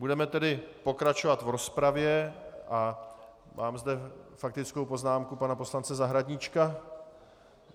Budeme tedy pokračovat v rozpravě a mám zde faktickou poznámku pana poslance Zahradníčka.